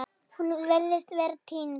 Hún virtist vera týnd